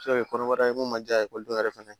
Se ka kɛ kɔnɔbara ye mun ma diya ekɔliden yɛrɛ fɛnɛ ye